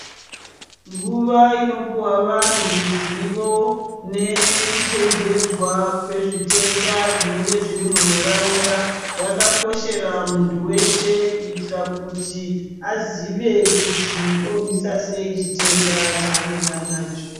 Nguva inopihwa vanhu ruzivo nekuchenjedzwa kwezvitenda zvinenge zviri munharaunda yakakoshera muntu weshe kuitira kuti azive kuti arwise sei chitenda chaanenge anacho.